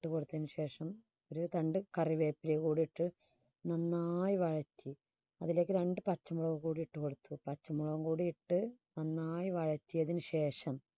ഇട്ട് കൊടുത്തതിനു ശേഷം ഒരു രണ്ട് കറിവേപ്പില കൂടി ഇട്ട് നന്നായി വയറ്റി അതിലേക്ക് രണ്ട് പച്ചമുളക് കൂടി ഇട്ടു കൊടുത്ത് പച്ചമുളകും കൂടിയിട്ട് നന്നായി വയറ്റിയതിന് ശേഷം